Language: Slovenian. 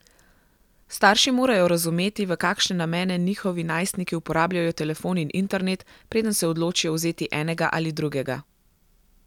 Starši morajo razumeti, v kakšne namene njihovi najstniki uporabljajo telefon in internet, preden se odločijo vzeti enega ali drugega.